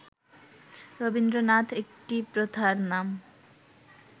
রবীন্দ্রনাথ একটি প্রথার নাম